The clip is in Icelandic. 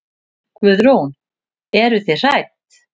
Guðrún: Eruð þið hrædd?